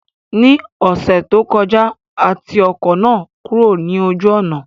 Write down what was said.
Ní ọ̀sẹ̀ tó kọjá, a ti ọkọ̀ náà kúrò ní ojú ọ̀nà